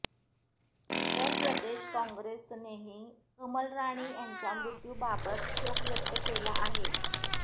उत्तर प्रदेश कॉंग्रेसनेही कमलराणी यांच्या मृत्यूबाबत शोक व्यक्त केला आहे